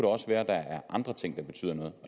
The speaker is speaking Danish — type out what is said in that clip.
også være at der er andre ting der betyder noget